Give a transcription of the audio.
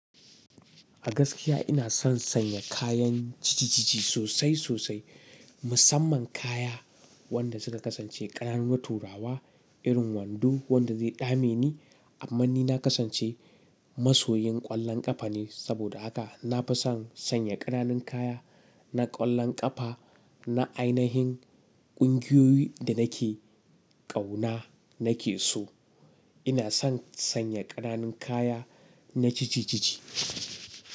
A gaskiya ina son sanya kayan jijiji sosai sosai, musamman kaya wanda suka kasance ƙananu turawa irin wando wanda zai dame ni amma ni na kasance masoyin ƙwallon ƙafa ne saboda haka na fi son sanya ƙananun kaya na ƙwallon ƙafa na ainahin ƙungiyoyi da nake ƙauna nake so. Ina son sanya ƙananun kaya na jijiji.